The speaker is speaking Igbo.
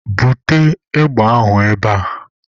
Bute égbè ahụ ebe a!